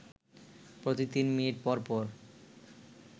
প্রতি ৩ মিনিট পরপর